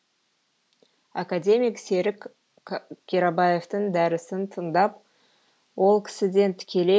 академик серік қирабаевтың дәрісін тыңдап ол кісіден тікелей